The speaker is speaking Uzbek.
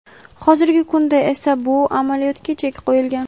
Hozirgi kunda esa bu amaliyotga chek qo‘yilgan.